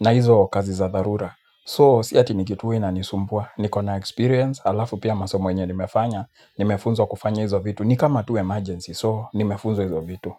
na hizo kazi za dharura. So, si ati ni kitu huwa inanisumbua. Niko na experience, halafu pia masomo yenye nimefanya, nimefunzwa kufanya hizo vitu. Ni kama tu emergency, so, nimefunzwa hizo vitu.